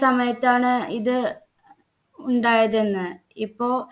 സമയത്താണ് ഇത് ഉണ്ടായതെന്ന് ഇപ്പോ